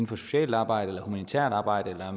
for socialt arbejde eller humanitært arbejde eller